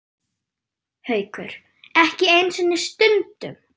Haukur: Ekki einu sinni stundum?